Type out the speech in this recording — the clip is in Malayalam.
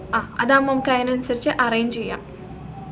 അഹ് അതാവുമ്പോ നമ്മക്ക് അതിനനുസരിച് arrange ചെയ്യാം